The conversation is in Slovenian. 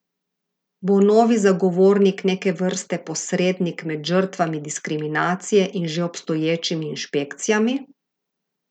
Bo novi zagovornik neke vrste posrednik med žrtvami diskriminacije in že obstoječimi inšpekcijami?